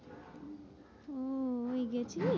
আহ এই গেছিলে।